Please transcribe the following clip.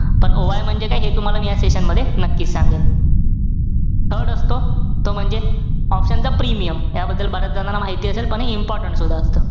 पण OI म्हणजे काय हे तुम्हाला मी या session मध्ये नक्की सांगेन. third असतो तो म्हणजे option चा premium. त्याबद्दल बऱ्याच जणांना माहिती असेल. पण हे important सुद्धा असतं.